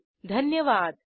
सहभागासाठी धन्यवाद